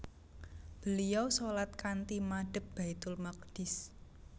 Beliau shalat kanthi madhep Baitul Maqdis